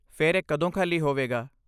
ਫਿਰ ਇਹ ਕਦੋਂ ਖਾਲੀ ਹੋਵੇਗਾ?